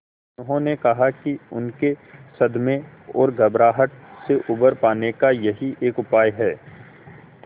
उन्होंने कहा कि उनके सदमे और घबराहट से उबर पाने का यही एक उपाय है